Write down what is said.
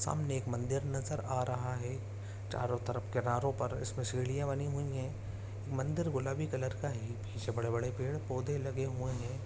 सामने एक मंदिर नजर आ रहा है चारो तरफ किनारो पर इसमें सीढ़िया बनी है मंदिर गुलाबी कलर का है पीछे बड़े-बड़े पेड़-पौधे लगे हुए हैं।